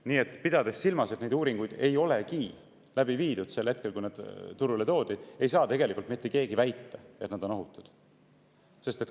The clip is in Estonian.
Nii et pidades silmas, et neid uuringuid ei oldudki läbi viidud sel hetkel, kui nad turule toodi, ei saa tegelikult mitte keegi väita, et nad on ohutud.